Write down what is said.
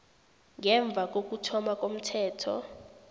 ngemva kokuthoma komthetho